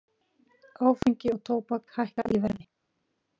Áfengi og tóbak hækka í verði